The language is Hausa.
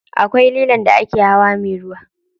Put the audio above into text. Akwai lilon da ake hawa me ruwa.